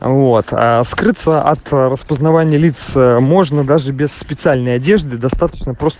вот скрыться от распознавание лиц можно даже без специальной одежды достаточно